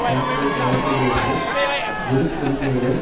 தன்னுடைய மேசையில் இருந்து விருப்புரிமைகளை